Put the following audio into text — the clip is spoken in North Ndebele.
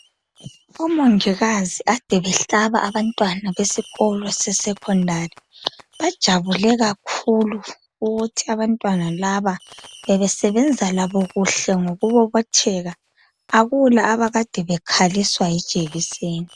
Omongikazi kade behlaba abantwana besikolo seSecondary bajabule kakhulu ukuthi abantwana laba bebesebenza labo kuhle ngokubobotheka akula abakade bekhaliswa yijekiseni.